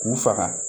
K'u faga